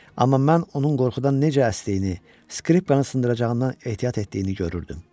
Amma mən onun qorxudan necə əsdiyini, skripkanı sındıracağından ehtiyat etdiyini görürdüm.